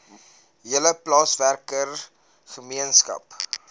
hele plaaswerker gemeenskap